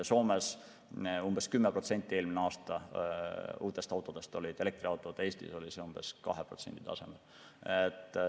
Soomes moodustasid eelmisel aastal 10% uutest autodest elektriautod, Eestis oli see umbes 2%.